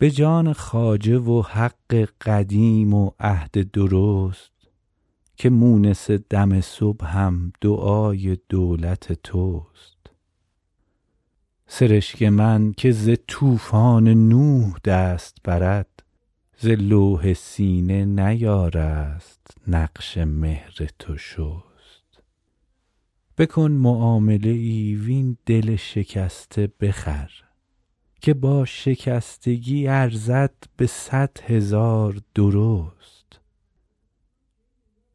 به جان خواجه و حق قدیم و عهد درست که مونس دم صبحم دعای دولت توست سرشک من که ز طوفان نوح دست برد ز لوح سینه نیارست نقش مهر تو شست بکن معامله ای وین دل شکسته بخر که با شکستگی ارزد به صد هزار درست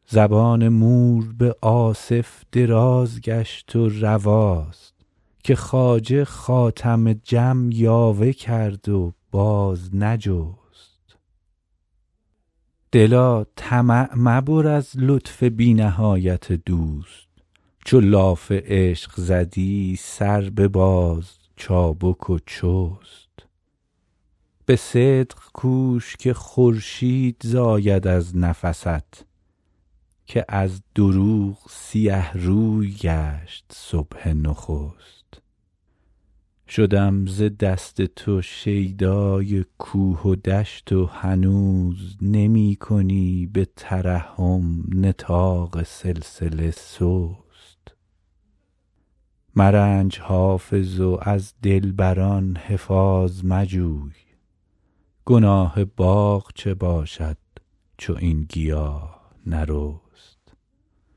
زبان مور به آصف دراز گشت و رواست که خواجه خاتم جم یاوه کرد و باز نجست دلا طمع مبر از لطف بی نهایت دوست چو لاف عشق زدی سر بباز چابک و چست به صدق کوش که خورشید زاید از نفست که از دروغ سیه روی گشت صبح نخست شدم ز دست تو شیدای کوه و دشت و هنوز نمی کنی به ترحم نطاق سلسله سست مرنج حافظ و از دلبر ان حفاظ مجوی گناه باغ چه باشد چو این گیاه نرست